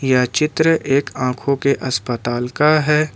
यह चित्र एक आंखों के अस्पताल का है।